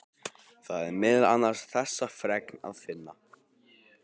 Þar er meðal annars þessa fregn að finna